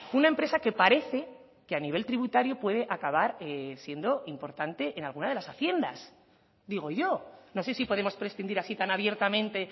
una empresa que parece que a nivel tributario puede acabar siendo importante en alguna de las haciendas digo yo no sé si podemos prescindir así tan abiertamente